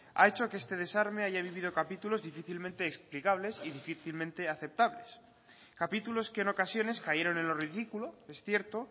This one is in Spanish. ha hecho que este desarme haya vivido capítulos difícilmente explicables y difícilmente aceptables capítulos que en ocasiones cayeron en lo ridículo es cierto